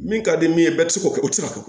Min ka di min ye bɛɛ bɛ se k'o kɛ o tɛ se ka kɛ